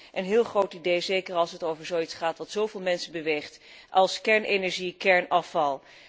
Het lijkt me een heel goed idee, zeker als het over zoiets gaat dat zo veel mensen beweegt als kernenergie en kernafval.